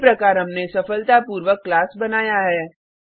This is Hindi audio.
इसी प्रकार हमने सफलतापूर्वक क्लास बनाया है